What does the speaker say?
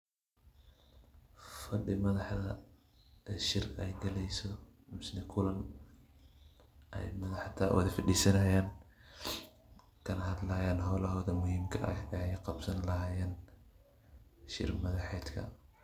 Fadhi madaxda shir ay galayso mise kulan ay madaxda wad fadisinayaan kana hadlayaan howlahooda muhiimka ah ay qabsan lahaayeen shir madaxeedka.